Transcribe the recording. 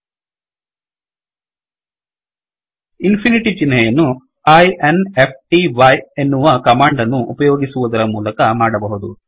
infinityಇನ್ ಫಿನಿಟಿಚಿಹ್ನೆಯನ್ನು i n f t y ಎನ್ನುವ command ಅನ್ನು ಉಪಯೋಗಿಸುವದರ ಮೂಲಕ ಮಾಡಬಹುದು